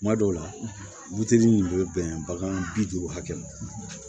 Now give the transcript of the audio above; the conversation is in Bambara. Kuma dɔw la nin bɛ bɛn bagan bi duuru hakɛ ma